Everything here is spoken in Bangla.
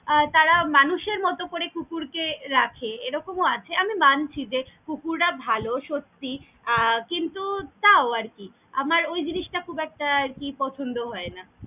আহ তারা মানুষের মতো করে কুকুরকে রাখে এরকম ও আছে, আমি মানছি যে কুকুররা ভালো সত্যি আহ কিন্তু তাও আরকি আমার ওই জিনিস টা খুব একটা আরকি পছন্দ হয়না।